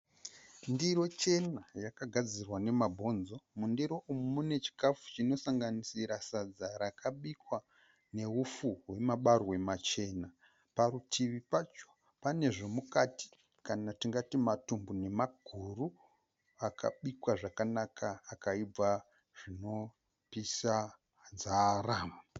Ndiro chena yakagadzirwa nemabonzo, mundiro umu mune chikafu chinosanganisira sadza rakabikwa neupfu rwemabarwe machena. parutuvi pacho pane zvomukati kana tingati matumbu nemaguru akabikwa zvakanaka akaibva zvinopisa nzara.